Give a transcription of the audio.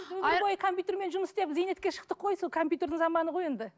өмір бойы компьютермен жұмыс істеп зейнетке шықтық қой сол компьютердің заманы ғой енді